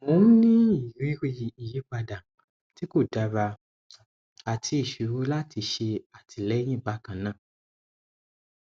mò ń ní ìrírí ìyípadà tí kò dára àti ìṣòro láti ṣe àtìlẹyìn bákan náà